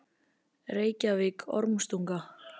Reykjavík: Ormstunga.